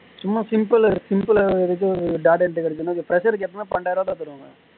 சும்மா simple gimple ல எடுத்து data entry கிடச்சதுனா fresher க்கு எப்பையுமே பன்னிரெண்டாயிரம் ரூபாய் கிட்ட தருவாங்க